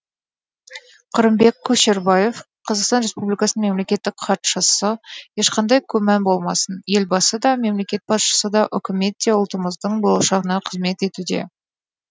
қырымбек көшербаев қазақстан республикасы мемлекеттік хатшысы ешқандай күмән болмасын елбасы да мемлекет басшысы да үкімет те ұлтымыздың болашағына қызмет етуде